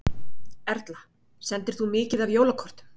Erla: Sendir þú mikið af jólakortum?